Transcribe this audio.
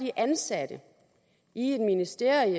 er ansat i et ministerium